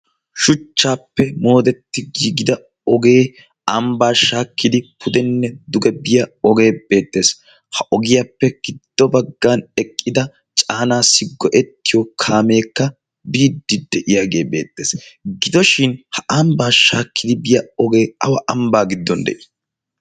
Shuchchaappe moodetti giigida ogee ambbaa shaakkidi pudenne duge biya ogee beettees. Ha ogiyaappe giddo baggan eqqida caanaassi go'ettiyo kaameekka biiddi de'iyaagee beettees. Gidoshin ha ambaa shaakkidi biya ogee awa ambbaa giddon deii?